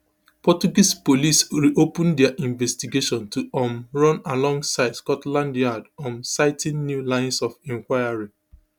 portuguese police reopen dia investigation to um run alongside scotland yard um citing new lines of inquiry